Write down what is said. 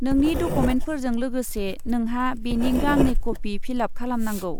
नोंनि डकुमेन्टफोरजों लोगोसे नोंहा बेनि गांनै कपि फिल आप खालामनांगौ।